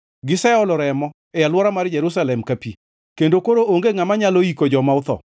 Giseolo remo e alwora mar Jerusalem ka pi, kendo koro onge ngʼama nyalo yiko joma otho.